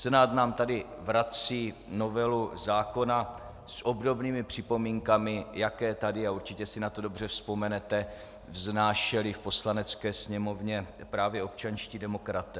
Senát nám tady vrací novelu zákona s obdobnými připomínkami, jaké tady, a určitě si na to dobře vzpomenete, vznášeli v Poslanecké sněmovně právě občanští demokraté.